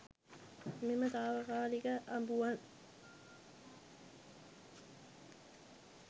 මෙම තාවකාලික අඹුවන්